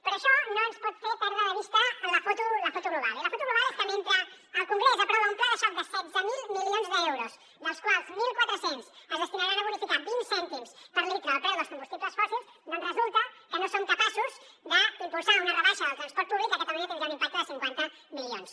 però això no ens pot fer perdre de vista la foto global i la foto global és que mentre el congrés aprova un pla de xoc de setze mil milions d’euros dels quals mil quatre cents es destinaran a bonificar vint cèntims per litre el preu dels combustibles fòssils doncs resulta que no som capaços d’impulsar una rebaixa del transport públic que a catalunya tindria un impacte de cinquanta milions